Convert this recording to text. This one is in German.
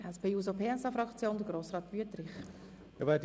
Für die SP-JUSO-PSA-Fraktion hat Grossrat Wüthrich das Wort.